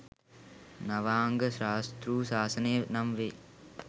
නවාංග ශාස්තෘ සාසනය නම් වේ.